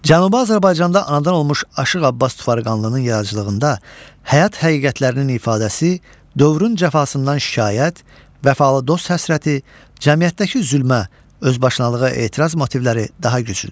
Cənubi Azərbaycanda anadan olmuş Aşıq Abbas Tufarqanlının yaradıcılığında həyat həqiqətlərinin ifadəsi, dövrün cəfasından şikayət, vəfalı dost həsrəti, cəmiyyətdəki zülmə, özbaşınalığa etiraz motivləri daha güclüdür.